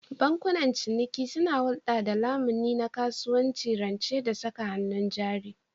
Bankunan ciniki suna hulɗa da lamuni na kasuwanci, rance da saka hannun jari.